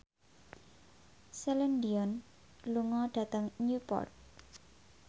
Celine Dion lunga dhateng Newport